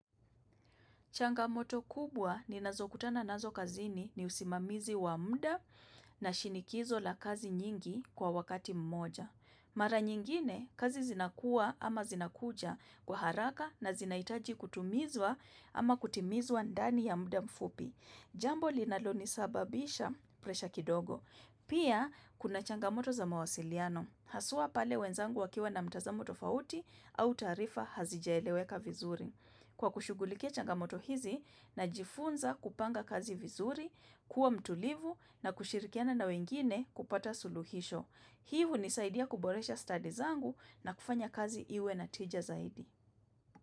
Changamoto kubwa ni nazo kutana nazo kazini ni usimamizi wa mda na shinikizo la kazi nyingi kwa wakati mmoja. Mara nyingine, kazi zinakuwa ama zinakuja kwa haraka na zinahitaji kutumizwa ama kutimizwa ndani ya mda mfupi. Jambo linalo nisababisha presha kidogo. Pia, kuna changamoto za mawasiliano. Haswa pale wenzangu wakiwa na mtazamo tofauti au taarifa hazijaeleweka vizuri. Kwa kushugulika changamoto hizi najifunza kupanga kazi vizuri, kuwa mtulivu na kushirikiana na wengine kupata suluhisho. Hii hunisaidia kuboresha stadi zangu na kufanya kazi iwe na tija zaidi.